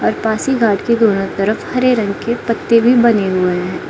और पासीघाट के दोनों तरफ हरे रंग के पत्ते भी बने हुए है।